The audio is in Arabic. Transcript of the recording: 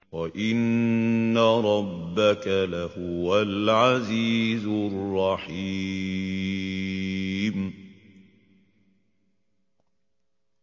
وَإِنَّ رَبَّكَ لَهُوَ الْعَزِيزُ الرَّحِيمُ